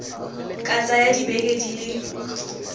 ka tsaya dibeke di le